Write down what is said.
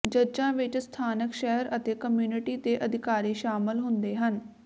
ਜੱਜਾਂ ਵਿਚ ਸਥਾਨਕ ਸ਼ਹਿਰ ਅਤੇ ਕਮਿਊਨਿਟੀ ਦੇ ਅਧਿਕਾਰੀ ਸ਼ਾਮਲ ਹੁੰਦੇ ਹਨ